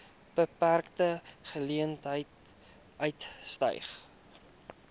beperkte geleenthede uitgestyg